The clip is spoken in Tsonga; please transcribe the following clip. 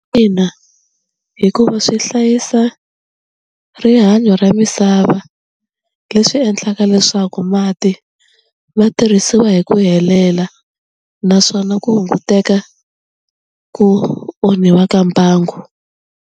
Ina hikuva swi hlayisa rihanyo ra misava leswi endlaka leswaku mati ma tirhisiwa hi ku helela naswona ku hunguteka ku onhiwa ka mbangu.